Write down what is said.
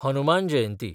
Hanuman Jayanti